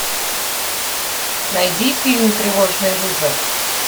найди фильм тревожный вызов